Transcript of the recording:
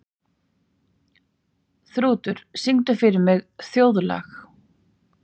Þrútur, syngdu fyrir mig „Þjóðlag“.